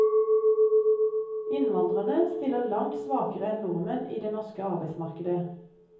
Innvandrerne stiller langt svakere enn nordmenn i det norske arbeidsmarkedet.